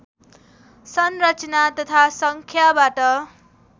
संरचना तथा सङ्ख्याबाट